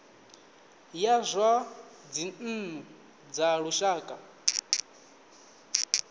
ya zwa dzinnu dza lushaka